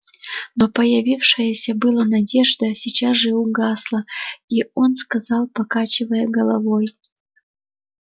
но появившаяся было надежда сейчас же угасла и он сказал покачивая головой